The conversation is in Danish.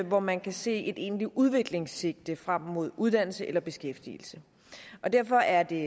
hvor man kan se et egentligt udviklingssigte frem mod uddannelse eller beskæftigelse derfor er det